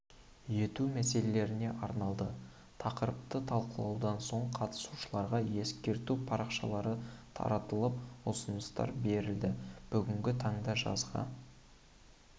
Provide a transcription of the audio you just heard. ету мәселелеріне арналды тақырыпты талқылаудан соң қатысушыларға ескерту парақшалары таратылып ұсыныстар берілді бүгінгі таңда жазғы